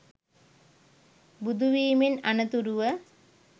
බුදුවීමෙන් අනතුරුව